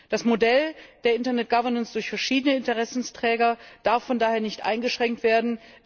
Das Modell der Internet Governance durch verschiedene Interessensträger darf von daher nicht eingeschränkt werden.